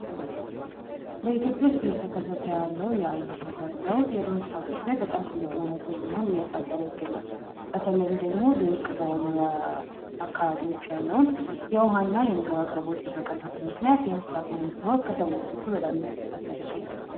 በኢትዮጵያ ውስጥ እየተከሰተ ያለው የአየር ንብረት ለውጥ በማህበረሰብ ላይ በጣም ከፍተኛ የሆነን ተጽእኖ እያሳደረ ይገኛል በተለይም ደግሞ በደረቅ የመኖሪያ አካባቢዎች ያለውን የውሃ እና የምግብ አቅርቦትን በመቀነሱ ምክንያት ከሰዎች እኩል በጣም የተፈታተነን ይገኛል።